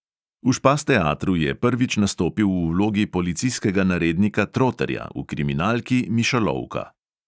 V špas teatru je prvič nastopil v vlogi policijskega narednika troterja v kriminalki mišolovka.